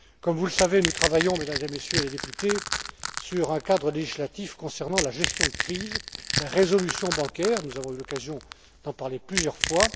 Comme vous le savez, nous travaillons, Mesdames et Messieurs les députés, sur un cadre législatif concernant la gestion de crise, la résolution bancaire, nous avons eu l'occasion d'en parler plusieurs fois.